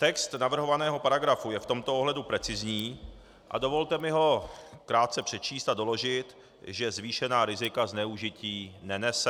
Text navrhovaného paragrafu je v tomto ohledu precizní a dovolte mi ho krátce přečíst a doložit, že zvýšená rizika zneužití nenese.